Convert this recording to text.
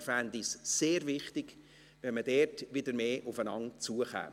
Er finde es sehr wichtig, wenn man in diesem Bereich wieder mehr aufeinander zukäme.